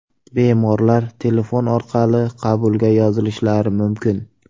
Bemorlar telefon orqali qabulga yozilishlari mumkin.